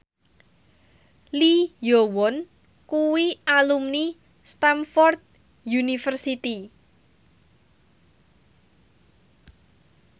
Lee Yo Won kuwi alumni Stamford University